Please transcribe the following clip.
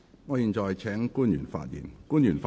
我現在請官員發言。